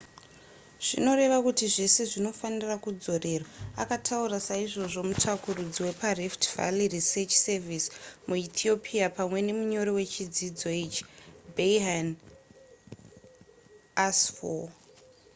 zvinoreva kuti zvese zvinofanira kudzorerwa akataura saizvozvo mutsvakurudzi weparift valley research service muethiopia pamwe nemunyori wechidzidzo ichi berhane asfaw